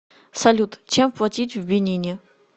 салют чем платить в бенине